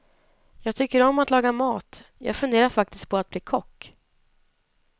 Jag tycker om att laga mat, jag funderade faktiskt på att bli kock.